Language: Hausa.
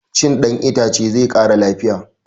Cin ɗan itace zai ƙara lafiya